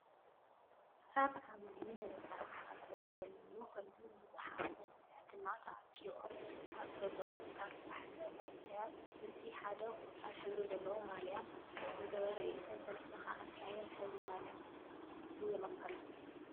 ኣብ ዓብዩ ህንፃ ሓፆር ዘለዎ ኮይኑ ብዙሓት መናእሰይ ድማ ተኣኪቦም ኣብ ዘለው ኣርባሕተ መናእሰይ እቱይ ሓደ ቆፃል ሕብሪ ዘለዎ ማልያ ዝገበረ እዩ። እቶም ሰለስተ ከዓ እንታይ ዓይነት ሕብሪ ማልያ ዘይሮም ኣለው?